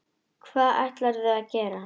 Hvað ætlarðu að gera?